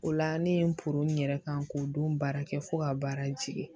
O la ne ye n n yɛrɛ kan k'o don baara kɛ fo ka baara jigin